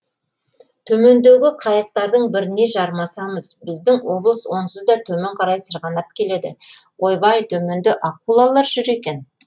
төмендегі қайықтардың біріне жармасамыз біздің облыс онсыз да төмен қарай сырғанап келеді ойбай төменде акулалар жүр екен